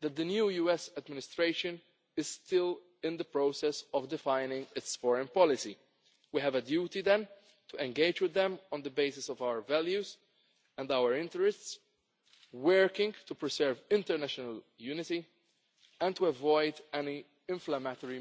that the new US administration is still in the process of defining its foreign policy. We have a duty then to engage with them on the basis of our values and our interests, working to preserve international unity and to avoid any inflammatory